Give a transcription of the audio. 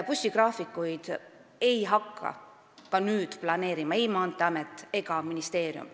Bussigraafikuid ei hakka ka nüüd planeerima ei Maanteeamet ega ministeerium.